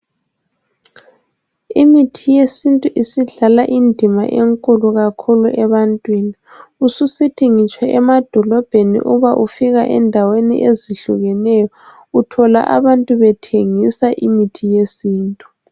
Imithi yesintu isidlala indima enkulu kakhulu abantwini ususithi ngitsho emadolobheni uba ufika endaweni ezihlukeneyo uthola abantu bethengisa imithi yesintu